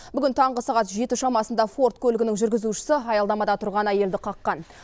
бүгін таңғы сағат жеті шамасында форд көлігінің жүргізушісі аялдамада тұрған әйелді қаққан